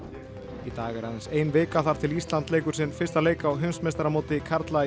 í dag er aðeins ein vika þar til Ísland leikur sinn fyrsta leik á heimsmeistaramóti karla í